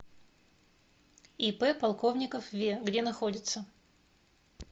ип полковников ве где находится